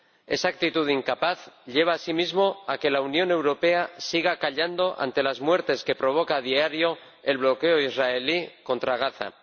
Esa actitud incapaz lleva asimismo a que la Unión Europea siga callando ante las muertes que provoca a diario el bloqueo israelí contra Gaza.